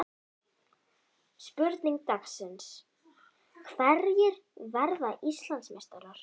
Spurning dagsins: Hverjir verða Íslandsmeistarar?